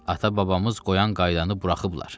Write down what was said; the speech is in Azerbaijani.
Ata-babamız qoyan qaydanı buraxıblar.